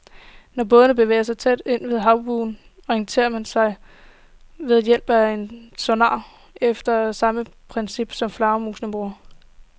Når båden bevæger sig tæt ved havbunden, orienterer den sig ved hjælp af en sonar efter samme princip, som flagermusene bruger.